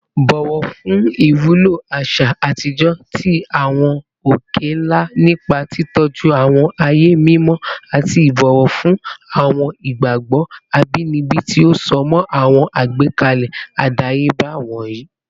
Bọwọ fun iwulo aṣa atijọ ti awọn oke-nla nipa titọju awọn aaye mimọ ati ibọwọ fun awọn igbagbọ abinibi ti o so mọ awọn agbekalẹ adayeba wọnyi